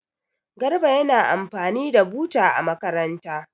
Garba yana amfani da buta a makaranta.